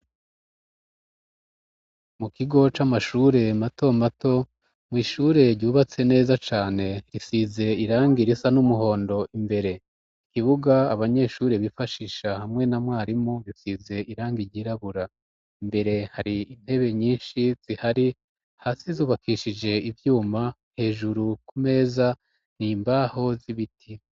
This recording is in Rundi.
Mu kigo c'amashure mato mato, mw'ishure ryubatse neza cane ,risize irangi irisa n'umuhondo imbere, ikibuga abanyeshure bifashisha hamwe na mwarimu risize irangi ryirabura ,imbere hari intebe nyinshi zihari ,hasi zubakishije ivyuma ,hejuru ku meza ni imbaho z'ibiti.